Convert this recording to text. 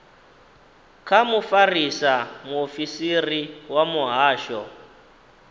kha mufarisa muofisiri wa muhasho